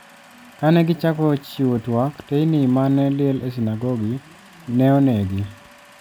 Kane gichako chiwo twak teyini mane liel e sinagogi ne onegi.